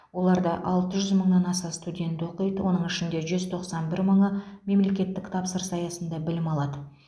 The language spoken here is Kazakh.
оларда алты жүз мыңнан аса студент оқиды оның ішінде жүз тоқсан бір мыңы мемлекеттік тапсырыс аясында білім алады